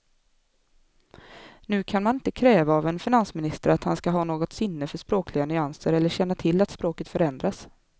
Nu kan man inte kräva av en finansminister att han ska ha något sinne för språkliga nyanser eller känna till att språket förändrats.